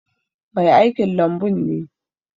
Mai aikin lambun ne.